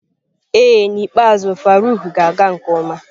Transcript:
Ee n'ikpeazụ Faruq ga-aga nke ọma.